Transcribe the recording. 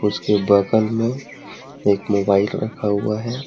उसके बगल में एक मोबाइल रखा हुआ है।